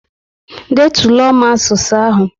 Detulo m asụsụ ahụ!